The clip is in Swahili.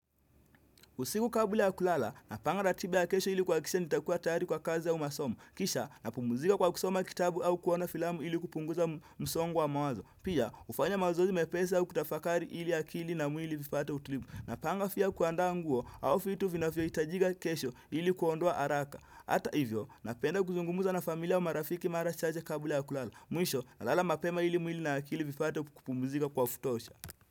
Usiku kabla ya kulala, napanga ratiba ya kesho ili kuhakikisha nitakuwa tayari kwa kazi au masomo. Kisha, napumzika kwa kusoma kitabu au kuona filamu ili kupunguza msongo wa mawazo. Pia, hufanya mazoezi mepesi au kutafakari ili akili na mwili vipate utulivu. Napanga pia kuandaa nguo, au vitu vinavyohitajika kesho ili kuondoa haraka. Hata hivyo, napenda kuzungumza na familia au marafiki mara chache kabla ya kulala. Mwisho, nalala mapema ili mwili na akili vipate kupumzika kwa kutosha.